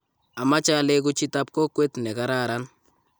ameche aleku chitab kokwet ne kararan